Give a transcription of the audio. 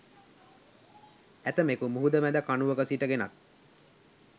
ඇතමෙකු මුහුද මැද කණුවක සිට ගෙනත්